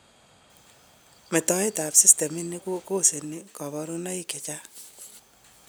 Metoet ab systemitni kokoseni kaborunoik chechang'